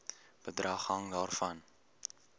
bedrag hang daarvan